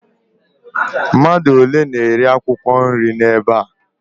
Mmadụ ole na-ere akwụkwọ nri n'ebe a?